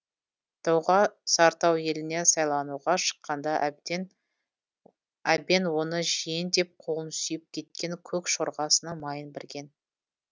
доға сартау еліне сайлануға шыққанда әбен оны жиен деп қолын сүйіп күткен көк жорғасының майын берген